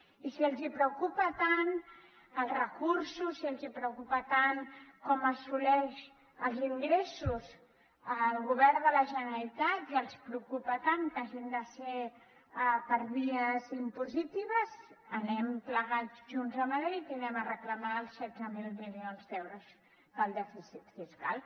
i si els preocupen tant els recursos si els preocupen tant com assoleix els ingressos el govern de la generalitat i els preocupa tant que hagin de ser per vies impositives anem plegats junts a madrid i anem a reclamar els setze mil milions d’euros del dèficit fiscal